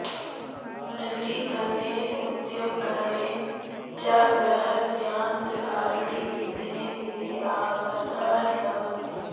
नगरीकर्णेन उद्यमकरणेन च बृहद्यान्त्रगारणि दिने दिने आर्ब्धानि भवन्ति